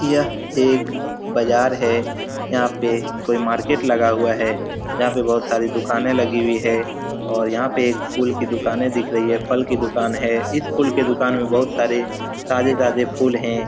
यह एक बाजार है। यहाँ पे कोई मार्किट लगा हुआ है जहाँ पे बहुत सारी दुकानें लगी हुई है और यहाँ पे एक फुल की दूकानें दिख रही है फल की दूकान है। इस फुल की दूकान में बहुत सारी ताजे-ताजे फूल हैं।